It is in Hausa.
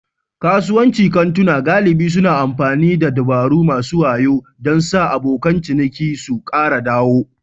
Kasuwancin kantuna galibi suna amfani da dabaru masu wayo don sa abokan ciniki su kara dawo.